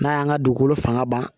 N'a y'an ka dugukolo fanga ban